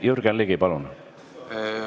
Jürgen Ligi, palun!